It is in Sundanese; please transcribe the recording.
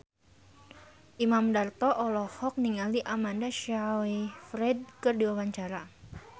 Imam Darto olohok ningali Amanda Sayfried keur diwawancara